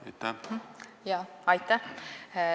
Aitäh!